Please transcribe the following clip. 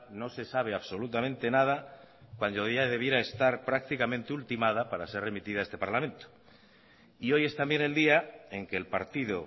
no se sabe absolutamente nada cuando ya debiera estar prácticamente ultimada para ser remitida a este parlamento y hoy es también el día en que el partido